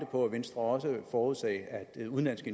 på at venstre også ville forudsige at udenlandske